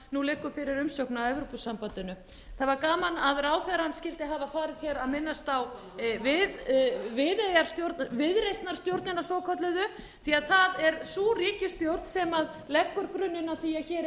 nú liggur fyrir umsókn að evrópusambandinu það var gaman að ráðherrann skyldi hafa farið hér að minnast á viðreisnarstjórnina svokölluðu því að það er sú ríkisstjórn sem liggur grunninn að því að